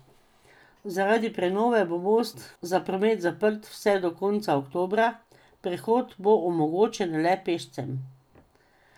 Zaradi prenove bo most za promet zaprt vse do konca oktobra, prehod bo omogočen le pešcem.